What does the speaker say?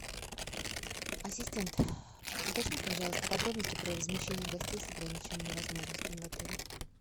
ассистент уточни пожалуйста подробности про размещение гостей с ограниченными возможностями в отеле